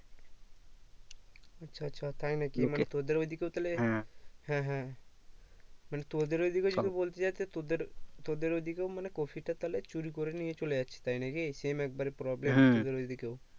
আচ্ছা আচ্ছা তাই নাকি মানে তোদের ওই দিকেও তাহলে হ্যাঁ হ্যাঁ মানে তোদের ওই দিকেও যদি বলতে যাই তা তোদের তোদের ওই দিকেও মানে কপি টা তাহলে চুরি করে নিয়ে চলে যাচ্ছে তাই নাকি same এক বাড়ে problem তোদের ওই দিকেও